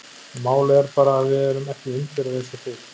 En málið er bara að við erum ekki Indverjar eins og þið.